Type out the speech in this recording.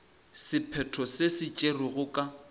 sephetho se se tšerwego ka